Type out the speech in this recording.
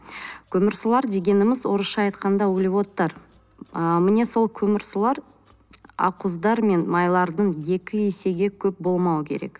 көмірсулар дегеніміз орысша айтқанда углеводтар ы міне сол көмірсулар ақ уыздар мен майлардың екі есеге көп болмауы керек